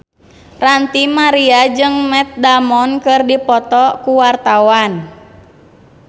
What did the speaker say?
Ranty Maria jeung Matt Damon keur dipoto ku wartawan